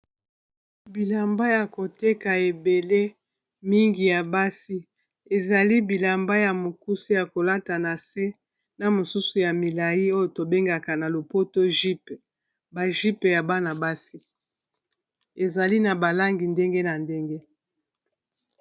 Bilamba yako teka ebele mingi ya basi ezali bilamba ya mokuse yako lata na se na misusu ya milai oyo to bengaka na lopoto jype ba jype ya bana basi ezali na ba langi ndenge na ndenge.